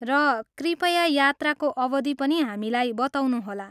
र कृपया यात्राको अवधि पनि हामीलाई बताउनुहोला।